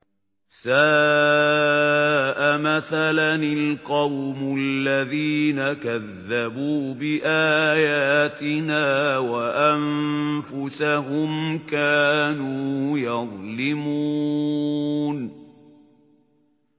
سَاءَ مَثَلًا الْقَوْمُ الَّذِينَ كَذَّبُوا بِآيَاتِنَا وَأَنفُسَهُمْ كَانُوا يَظْلِمُونَ